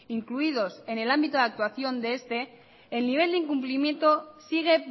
incluidos en el ámbito de actuación de este el nivel de incumplimiento sigue